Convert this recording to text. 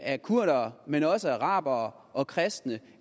af kurdere men også arabere og kristne